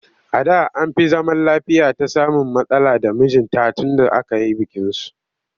A da an fi zaman lafiyata samun matsala da mijinta tunda aka yi bikinsu